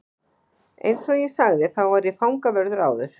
Eins og ég sagði þá var ég fangavörður áður.